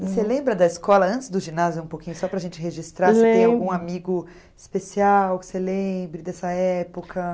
Você lembra da escola, antes do ginásio, um pouquinho, só para a gente registrar, se tem algum amigo especial que você lembre dessa época?